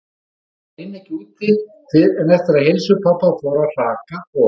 Þótt hún ynni ekki úti fyrr en eftir að heilsu pabba fór að hraka og-